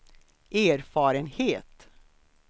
erfarenhet